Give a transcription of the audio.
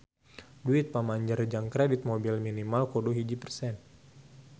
Duit pamanjer jang kredit mobil minimal kudu hiji persen